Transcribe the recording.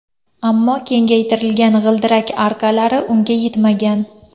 Ammo kengaytirilgan g‘ildirak arkalari unga yetmagan.